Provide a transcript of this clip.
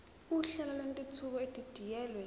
uhlelo lwentuthuko edidiyelwe